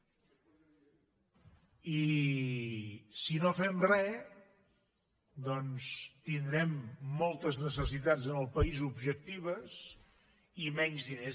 i si no fem re tindrem moltes necessitats en el país objectives i menys diners